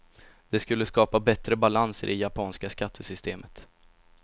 Det skulle skapa bättre balans i det japanska skattesystemet.